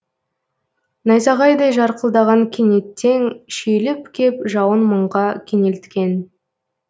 найзағайдай жарқылдаған кенеттен шүйіліп кеп жауын мұңға кенелткен